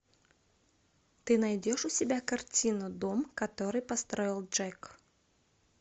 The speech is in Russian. ты найдешь у себя картину дом который построил джек